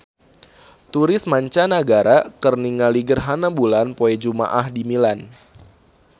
Turis mancanagara keur ningali gerhana bulan poe Jumaah di Milan